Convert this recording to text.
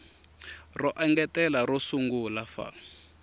ro engetela ro sungula fal